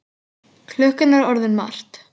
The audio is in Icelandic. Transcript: Klukkan er orðin margt.